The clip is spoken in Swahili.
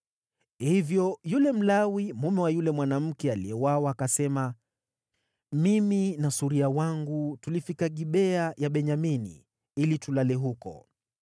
Hivyo yule Mlawi, mume wa yule mwanamke aliyeuawa, akasema, “Mimi na suria wangu tulifika Gibea ya Benyamini ili tulale huko.